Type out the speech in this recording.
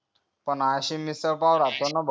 पण अशी मिसळ पाव राहते ना भाऊ